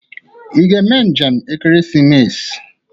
Ị ga-eme njem ekeresimesi?